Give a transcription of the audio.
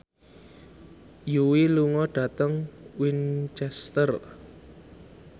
Yui lunga dhateng Winchester